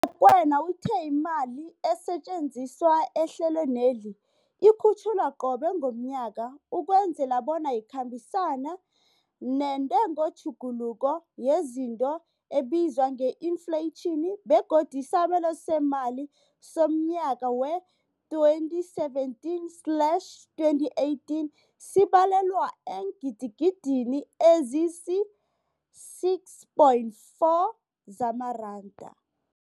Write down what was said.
U-Rakwena uthe imali esetjenziswa ehlelweneli ikhutjhulwa qobe ngomnyaka ukwenzela bona ikhambisane nentengotjhuguluko yezinto ebizwa nge-infleyitjhini, begodu isabelo seemali somnyaka we-2017 slash 18 sibalelwa eengidigidini ezisi-6.4 zamaranda.